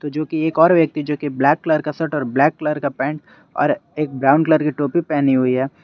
जो कि एक और व्यक्ति जो की ब्लैक कलर का शर्ट और ब्लैक कलर का पेंट और एक ब्राउन कलर की टोपी पहनी हुई है।